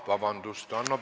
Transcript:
Vabandust!